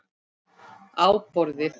Á borðið.